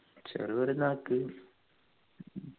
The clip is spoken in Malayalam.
ചെറിയ പെരുന്നാൾക്ക്